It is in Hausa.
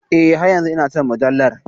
E, har yanzu ina son mujallar.